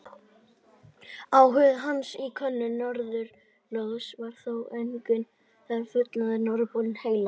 Áhuga hans á könnun norðurslóða var þó engan veginn fullnægt, norðurpóllinn heillaði.